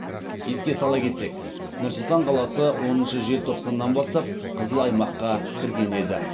еске сала кетсек нұр сұлтан қаласы оныншы желтоқсаннан бастап қызыл аймаққа кірген еді